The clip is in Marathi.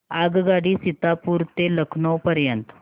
आगगाडी सीतापुर ते लखनौ पर्यंत